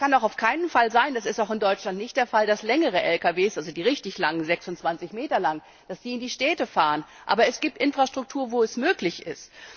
Es kann auch auf keinen Fall sein das ist auch in Deutschland nicht der Fall dass längere Lkws, also die richtig langen, die 26 Meter langen, in die Städte fahren. Aber es gibt Infrastruktur, wo es möglich